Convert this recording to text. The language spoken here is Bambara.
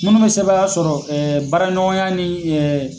Minnu bɛ sebaaya sɔrɔ baara ɲɔgɔnya ni